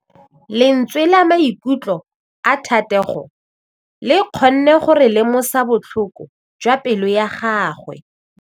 Lentswe la maikutlo a Thategô le kgonne gore re lemosa botlhoko jwa pelô ya gagwe.